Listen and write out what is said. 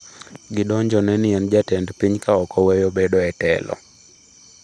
Gidonjone ni en jatend piny ka ok oweyo bedo e telo.